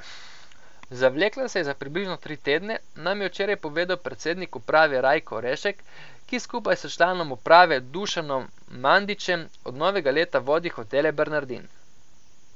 Zavlekla se je za približno tri tedne, nam je včeraj povedal predsednik uprave Rajko Rešek, ki skupaj s članom uprave Dušanom Mandičem od novega leta vodi Hotele Bernardin.